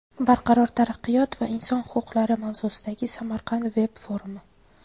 barqaror taraqqiyot va inson huquqlari mavzusidagi Samarqand veb-forumi.